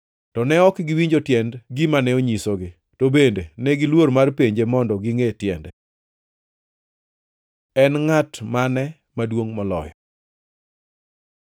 To ne ok giwinjo tiend gimane onyisogi, to bende negiluor mar penje mondo gingʼe tiende. En ngʼat mane maduongʼ moloyo?